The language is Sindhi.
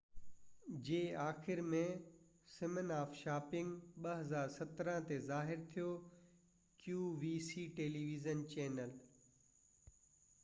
2017 جي آخر ۾ سمن of shopping television channel qvc تي ظاهر ٿيو